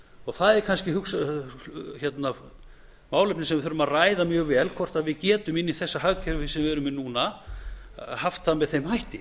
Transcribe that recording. og það er kannski málefni sem við þurfum að ræða mjög vel hvort við getum inni í þessu hagkerfi sem við erum í núna haft það með þeim hætti